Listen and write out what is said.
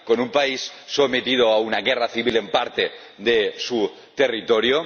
con un país sometido a una guerra civil en parte de su territorio